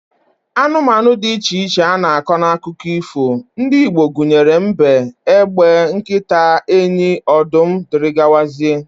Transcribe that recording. Anụmanụ dị iche iche a na-akọ n'akụkọ ifo ndị Igbo gụnyere mbe, egbe, nkịta, enyi, ọdụm, dgz